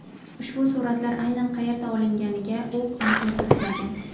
Ushbu suratlar aynan qayerda olinganiga u aniqlik kiritmagan.